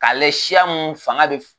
Ka lajɛ siya mun fanga be